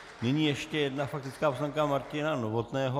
Nyní ještě jedna faktická poznámka Martina Novotného.